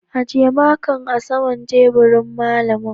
ajiye makan a saman teburin malami.